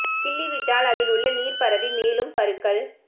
கிள்ளிவிட்டால் அதில் உள்ள நீர் பரவி மேலும் பருக்கள்